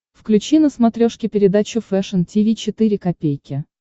включи на смотрешке передачу фэшн ти ви четыре ка